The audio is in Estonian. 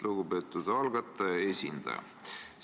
Lugupeetud algataja esindaja!